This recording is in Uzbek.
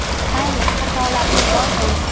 Mayli, xatolarga boy bo‘lsin.